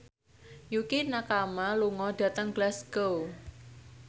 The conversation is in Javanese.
Yukie Nakama lunga dhateng Glasgow